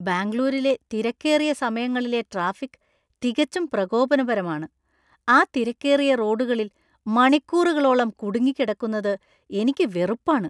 ബാംഗ്ലൂരിലെ തിരക്കേറിയ സമയങ്ങളിലെ ട്രാഫിക് തികച്ചും പ്രകോപനപരമാണ്. ആ തിരക്കേറിയ റോഡുകളിൽ മണിക്കൂറുകളോളം കുടുങ്ങിക്കിടക്കുന്നത് എനിക്ക് വെറുപ്പാണ്.